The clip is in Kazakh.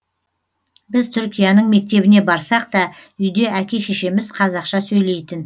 біз түркияның мектебіне барсақ та үйде әке шешеміз қазақша сөйлейтін